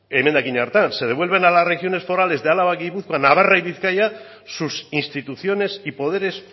emendakin hartan se devuelven a las regiones forales de álava gipuzkoa navarra y bizkaia sus instituciones y poderes